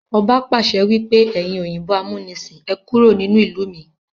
Ọba pàṣẹ wípé "ẹyin òyìnbó amunisin, Ẹ kúrò nínú ìlú mi!